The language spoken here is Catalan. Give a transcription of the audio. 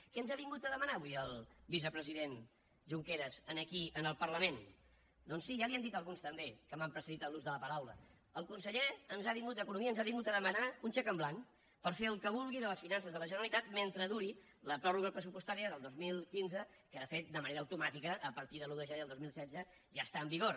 què ens ha vingut a demanar avui el vicepresident junqueras aquí en el parlament doncs sí ja li ho han dit alguns també que m’han precedit en l’ús de la paraula el conseller d’economia ens ha vingut a demanar un xec en blanc per fer el que vulgui de les finances de la generalitat mentre duri la pròrroga pressupostària del dos mil quinze que de fet de manera automàtica a partir de l’un de gener del dos mil setze ja està en vigor